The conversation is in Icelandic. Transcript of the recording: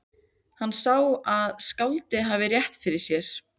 Hann sá að skáldið hafði rétt fyrir sér.